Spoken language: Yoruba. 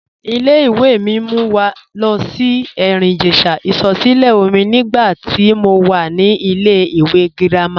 Ìlẹ̀-ìwé̀ mi mú wà lo sí Erin-Ijesha isọ̀sílẹ̀ọ̀mí nígbà tí mó wà ní ìlẹ̀-ìwé̀ gírámà.